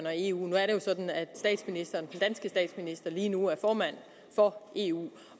og eu nu er det jo sådan at den statsminister lige nu er formand for eu